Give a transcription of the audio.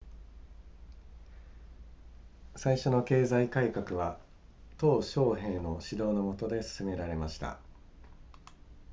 最初の経済改革は鄧小平の指導の下で進められました